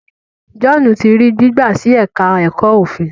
John tí rí gbigba sí èka èko òfin.